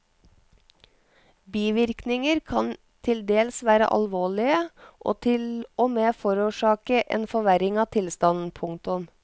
Bivirkninger kan til dels være alvorlige og til og med forårsake en forverring av tilstanden. punktum